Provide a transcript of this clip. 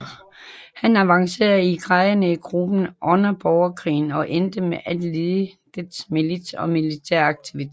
Han avancerede i graderne i gruppen under borgerkrigen og endte med at lede dets milits og militære aktiviteter